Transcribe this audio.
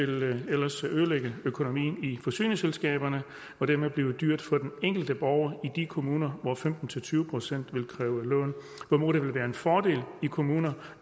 det ellers vil ødelægge økonomien i forsyningsselskaberne og dermed blive dyrt for den enkelte borger i de kommuner hvor femten til tyve procent vil kræve lån hvorimod det vil være en fordel i kommuner